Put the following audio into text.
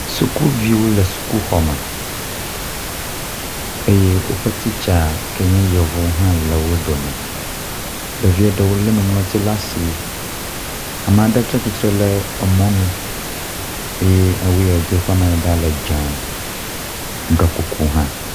Sukuviwo le sukuxɔme eye woƒe tsitsa ke nye yevu hã le wo dome. Ɖevi aɖewo le nuŋlɔti ɖe asi. Ame aɖe tsi tsitre ɖe emɔnu eye awu ye wodo ƒe amadada le dze eɖɔ kuku hã.